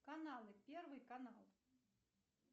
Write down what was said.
каналы первый канал